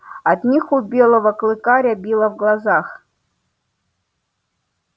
от них у белого клыка рябило в глазах